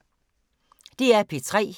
DR P3